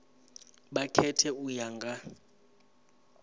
vha khethe u ya nga